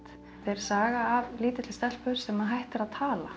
er saga af lítilli stelpu sem hættir að tala